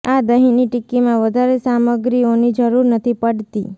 આ દહીની ટિક્કીમાં વધારે સામગ્રીઓની જરૂર નથી પડતી